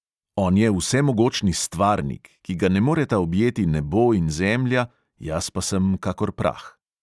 On je vsemogočni stvarnik, ki ga ne moreta objeti nebo in zemlja, jaz pa sem kakor prah.